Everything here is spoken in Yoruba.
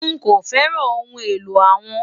Nkọ fẹ́ràn ọhun èlò awọn